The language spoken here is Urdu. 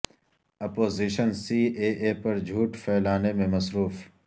اپوزیشن سی اے اے پر جھوٹ پھیلانے میں مصروف